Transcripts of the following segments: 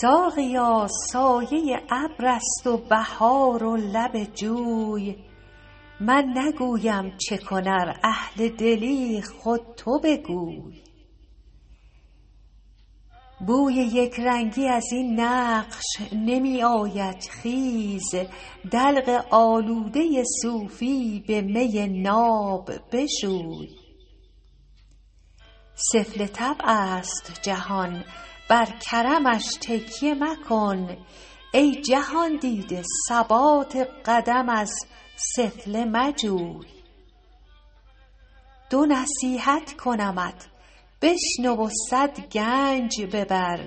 ساقیا سایه ابر است و بهار و لب جوی من نگویم چه کن ار اهل دلی خود تو بگوی بوی یک رنگی از این نقش نمی آید خیز دلق آلوده صوفی به می ناب بشوی سفله طبع است جهان بر کرمش تکیه مکن ای جهان دیده ثبات قدم از سفله مجوی دو نصیحت کنمت بشنو و صد گنج ببر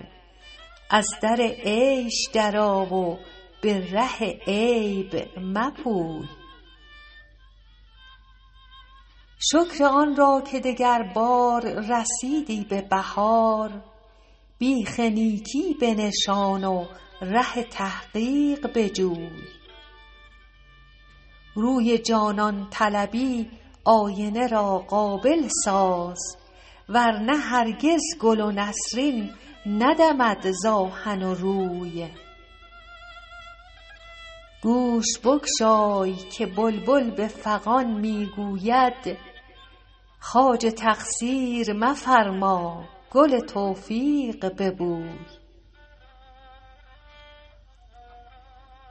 از در عیش درآ و به ره عیب مپوی شکر آن را که دگربار رسیدی به بهار بیخ نیکی بنشان و ره تحقیق بجوی روی جانان طلبی آینه را قابل ساز ور نه هرگز گل و نسرین ندمد ز آهن و روی گوش بگشای که بلبل به فغان می گوید خواجه تقصیر مفرما گل توفیق ببوی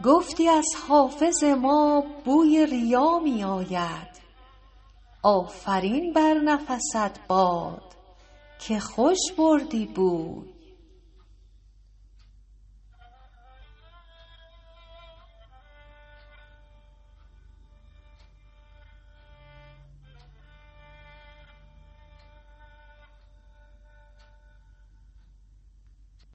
گفتی از حافظ ما بوی ریا می آید آفرین بر نفست باد که خوش بردی بوی